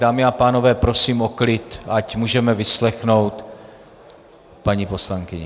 Dámy a pánové, prosím o klid, ať můžeme vyslechnout paní poslankyni.